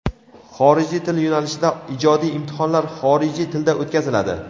Xorijiy til yo‘nalishida ijodiy imtihonlar xorijiy tilda o‘tkaziladi.